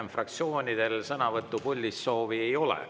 Nii, fraktsioonidel puldis sõna võtmise soovi rohkem ei ole.